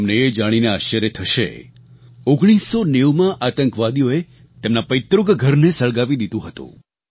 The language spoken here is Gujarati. તમને એ જાણીને આશ્ચર્ય થશે 1990માં આતંકવાદીઓએ તેમના પૈતૃક ઘરને સળગાવી દીધું હતું